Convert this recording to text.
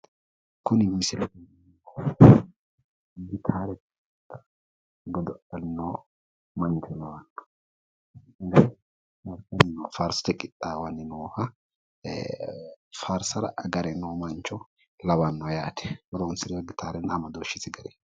Kuni misile gitaare godo’lanni noo mancho lawanno. Faarsote qixxaawanni nooha, faarsara agare noo mancho lawanno yaate horonsirewo gitaarenna amadooshshisi gari.